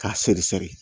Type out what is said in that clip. K'a seri seri